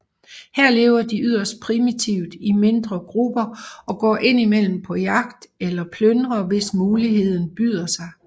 Her lever de yderst primitivt i mindre grupper og går indimellem på jagt eller plyndrer hvis muligheden byder sig